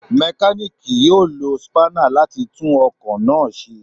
Mekaniki yoo lo spanner lati tun ọkọ ipo naa ṣe